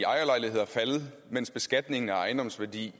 ejerlejligheder faldet mens beskatningen af ejendomsværdi